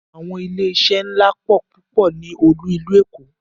Àwọn ilé iṣé ńlá pọ̀ púpọ̀ ní olú ìlú Èkó.